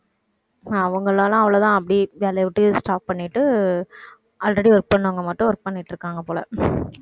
அவங்களால அவ்வளவுதான் அப்படி வேலையை விட்டே stop பண்ணிட்டு already work பண்ணவங்க மட்டும் work பண்ணிட்டு இருக்காங்க போல.